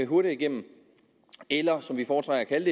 hurtigere igennem eller som vi foretrækker at